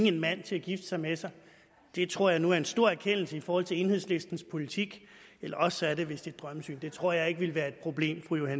en mand til at gifte sig med sig det tror jeg nu er en stor erkendelse i forhold til enhedslistens politik eller også er det vist et drømmesyn det tror jeg ikke ville være et problem må jeg